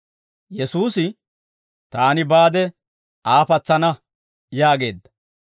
Yesuusi, «Taani baade Aa patsana» yaageedda.